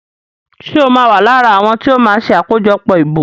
Ṣe o ma wá lára àwọn tíó ma ṣe akojọpọ ìbò?